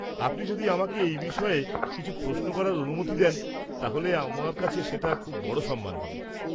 আপনি যদি আমাকে এই বিষয়ে কিছু প্রশ্ন করার অনুমতি দেন তাহলে সেটা আমার কাছে খুব বড় একটা সম্মান হবে।